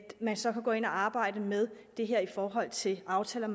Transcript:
man så kan gå ind og arbejde med det her i forhold til aftaler